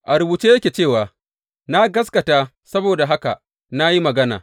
A rubuce yake cewa, Na gaskata; saboda haka na yi magana.